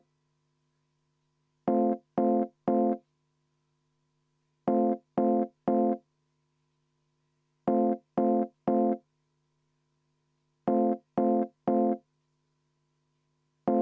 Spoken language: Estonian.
Meie fraktsioon soovib, et seda muudatusettepanekut hääletataks, ja põhjendus on ka.